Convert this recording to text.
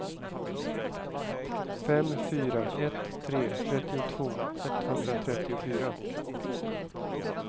fem fyra ett tre trettiotvå etthundratrettiofyra